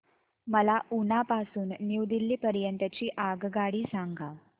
मला उना पासून न्यू दिल्ली पर्यंत ची आगगाडी सांगा